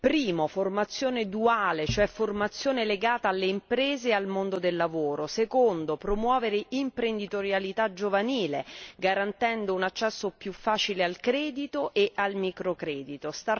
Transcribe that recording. Primo formazione duale, cioè formazione legata alle imprese e al mondo del lavoro. Secondo promozione dell'imprenditorialità giovanile, garantendo un accesso più facile al credito e al microcredito.